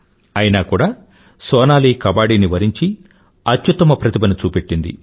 అయినా కూడా సోనాలీ కబడ్ది ని వరించి అత్యుత్తమ ప్రతిభను చూపెట్టింది